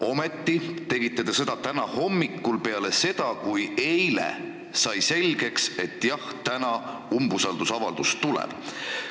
Ometi tegite seda alles täna hommikul, peale seda, kui eile sai selgeks, et jah, umbusaldusavaldus tuleb.